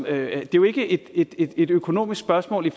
er jo ikke et ikke et økonomisk spørgsmål i